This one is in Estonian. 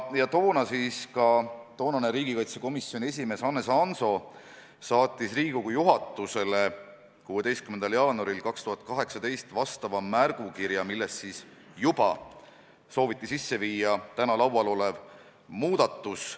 Toonane riigikaitsekomisjoni esimees Hannes Hanso saatis Riigikogu juhatusele 16. jaanuaril 2018 vastava märgukirja, milles siis juba sooviti sisse viia täna arutluse all olev muudatus.